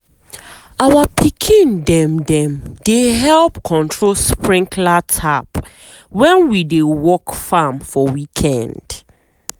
our pikin dem dem dey help control sprinkler tap when we dey work farm for weekend.